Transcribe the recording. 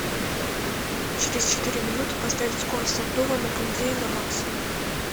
через четыре минуты поставить скорость обдува на кондее на максимум